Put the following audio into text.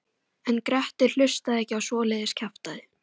En Grettir hlustaði ekki á svoleiðis kjaftæði.